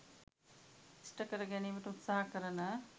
ඉෂ්ඨ කරගැනීමට උත්සාහ කරන